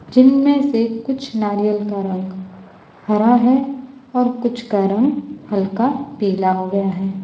जिनमें से कुछ नारियल का रंग हरा है और कुछ का रंग हल्का पीला हो गया है।